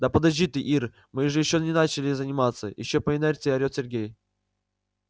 да подожди ты ир мы же ещё даже не начали заниматься ещё по инерции орёт сергей